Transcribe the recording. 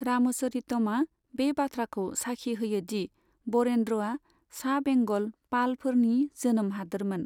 रामचरितमआ बे बाथ्राखौ साखि होयोदि बरेन्द्रआ सा बेंगल पालफोरनि जोनोम हादोरमोन।